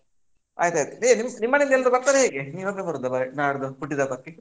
ಆಯ್ತ್ ಆಯ್ತ್ ನಿಮ್ ಮ್ಮನೇಲಿ ಎಲ್ರು ಬರ್ತಾರೆ ಹೇಗೆ, ನೀನು ಒಬ್ಬನೇ ಬರೋದಾ ಹೇಗೆ ನಾಡ್ದು ಹುಟ್ಟಿದ್ ಹಬ್ಬಕ್ಕೆ?